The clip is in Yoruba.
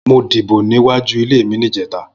Mó dibó niwájú ilé mi nijètá